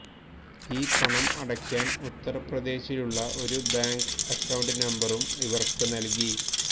ഈ പണം അടയ്ക്കാൻ ഉത്തർപ്രദേശിലുള്ള ഒരു ബാങ്ക് അക്കൌണ്ട് നമ്പറും ഇവർക്ക് നൽകി